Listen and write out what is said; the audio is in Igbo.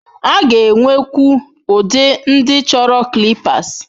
A ga-enwekwu ụdị ndị chọrọ clippers.